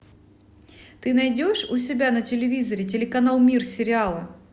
ты найдешь у себя на телевизоре телеканал мир сериала